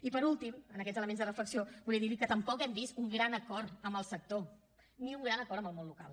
i per últim en aquests elements de reflexió volia dir li que tampoc hem vist un gran acord amb el sector ni un gran acord amb el món local